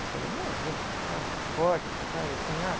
Eu falei, imagina, com aquela porta que você faz assim, abre.